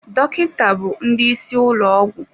Dọkịta bụ ndị isi ụlọ ọgwụ.